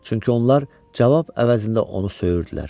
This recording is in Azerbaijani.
Çünki onlar cavab əvəzində onu söyürdülər.